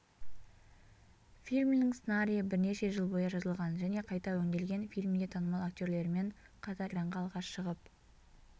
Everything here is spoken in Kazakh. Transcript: фильмнің сценариі бірнеше жыл бойы жазылған және қайта өңделген фильмге танымал актерлермен қатар экранға алғаш шығып